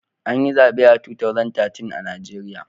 An yi zabe a 2013 a Najeriya.